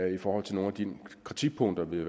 i forhold til nogle af de kritikpunkter vi